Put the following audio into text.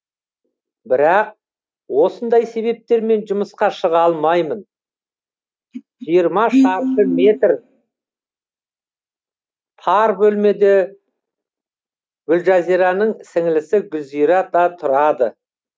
бірақ осындай себептермен жұмысқа шыға алмаймын жиырма шаршы метр тар бөлмеде гүлжазираның сіңілісі гүлзира да тұрады